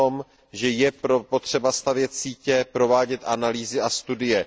o tom, že je potřeba stavět sítě, provádět analýzy a studie.